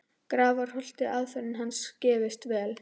Grafarholti og aðferðir hans gefist vel.